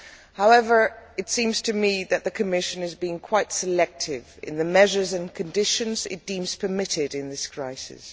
However, it seems to me that the Commission is being quite selective in the measures and conditions it deems permitted in this crisis.